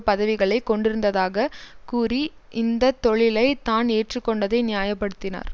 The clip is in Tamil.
பதவிகளை கொண்டிருந்ததாக கூறி இந்த தொழிலை தான் ஏற்றுக்கொண்டதை நியாய படுத்தினார்